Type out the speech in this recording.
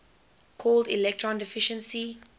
called electron deficiency